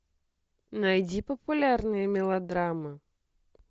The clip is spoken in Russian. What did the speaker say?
найди популярные мелодрамы